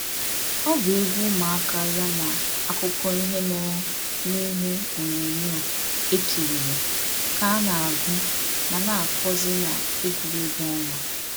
Ọ bụ egwu ụmụaka ya na akụkọ ihe mere n’ihe ọnyonyoo e kiriri ka a na-agụ ma na akọzị n'egwuregwu ọnwa.